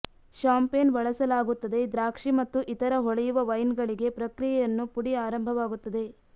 champagne ಬಳಸಲಾಗುತ್ತದೆ ದ್ರಾಕ್ಷಿ ಮತ್ತು ಇತರ ಹೊಳೆಯುವ ವೈನ್ ಗಳಿಗೆ ಪ್ರಕ್ರಿಯೆಯನ್ನು ಪುಡಿ ಆರಂಭವಾಗುತ್ತದೆ